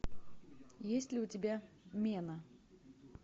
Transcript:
есть ли у тебя мена